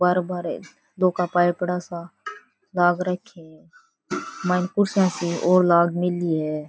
बारे बारे लौह का पाइप पड़ा सा लाग राख्या है मायने कुर्सियां सी और लाग मेली है।